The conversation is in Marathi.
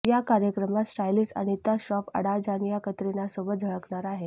या कार्यक्रमात स्टायलिस्ट अनिता श्रॉफ अडाजानिया कतरिनासोबत झळकणार आहे